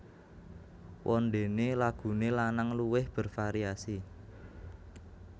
Wondene lagune lanang luwih bervariasi